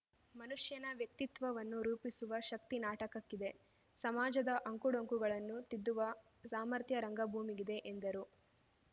ಮನುಷ್ಯನ ವ್ಯಕ್ತಿತ್ವವನ್ನು ರೂಪಿಸುವ ಶಕ್ತಿ ನಾಟಕಕ್ಕಿದೆ ಸಮಾಜದ ಅಂಕುಡೊಂಕುಗಳನ್ನು ತಿದ್ದುವ ಸಾಮರ್ಥ್ಯ ರಂಗಭೂಮಿಗಿದೆ ಎಂದರು